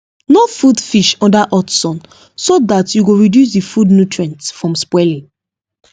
no food fish under hot sun so that you go reduce the food nutrients from spoiling